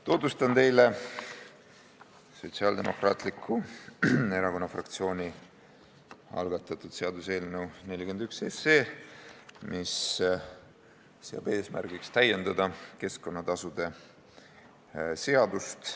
Tutvustan teile Sotsiaaldemokraatliku Erakonna fraktsiooni algatatud seaduseelnõu 41, mis seab eesmärgiks täiendada keskkonnatasude seadust.